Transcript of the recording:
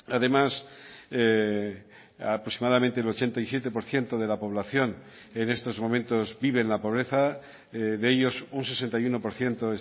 además aproximadamente el ochenta y siete por ciento de la población en estos momentos vive en la pobreza de ellos un sesenta y uno por ciento